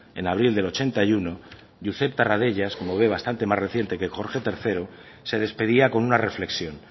en abril del ochenta y uno josep tarradellas como ve bastante más reciente que jorge tercero se despedía con una reflexión